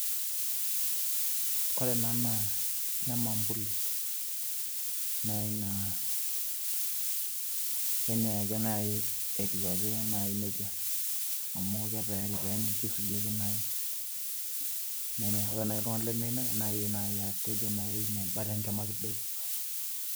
ore ena naa nemampuli, naai naa kenyae ake naaji etiu ake naaji nejia. amu kitayari peenyae kisuji ake naaji ,nenyae ake etiu nejia, ore naaji iltunganak lemeyieu nenya naa kidim naaji atejo meba naaji encama kidogo.